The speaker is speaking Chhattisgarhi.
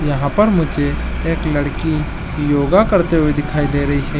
यहाँ पर मुझे एक लड़की योगा करते हुए दिखाई दे रही है।